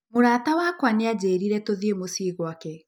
Mũrata wakwa nĩ aanjĩrire tũthiĩ mũciĩ gwake.